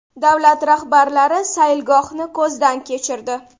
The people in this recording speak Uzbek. Davlat rahbarlari sayilgohni ko‘zdan kechirdi.